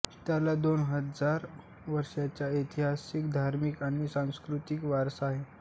त्याला दोन हजार वर्षांचा ऐतिहासिक धार्मिक आणि सांस्कृतिक वारसा आहे